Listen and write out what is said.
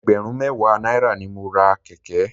Ẹgbẹ̀rún mẹ́wàá náírà ni mo ra kẹ̀kẹ́.